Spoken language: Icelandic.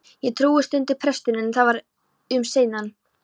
Ég trúi. stundi presturinn, en það var um seinan.